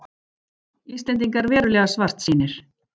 Íslendingar verulega svartsýnir